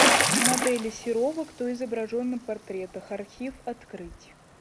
модели серова кто изображен на портретах архив открыть